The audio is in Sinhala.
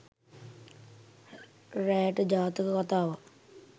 රෑට ජාතක කතාවක්